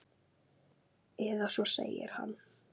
Eða svo segir hann!